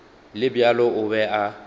le bjalo o be a